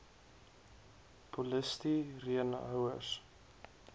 polisti reen houers